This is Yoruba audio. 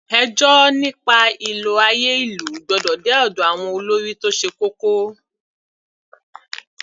Ẹjọ́ nípa ìlò àyè ìlú gbọ́dọ̀ dé ọ̀dọ̀ àwọn olórí tó ṣe kókó.